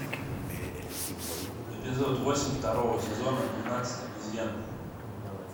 эпизод восемь второго сезона двенадцать обезьян